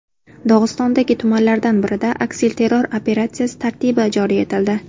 Dog‘istondagi tumanlardan birida aksilterror operatsiyasi tartibi joriy etildi.